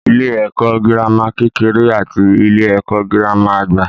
Ilé-ẹ̀kọ́ girama kekere àti ilé-ẹ̀kọ́ girama àgbà.